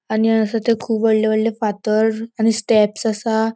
आणि आसा थंय कुब वोडले वोडले फातर आणि स्टेप्स आसा.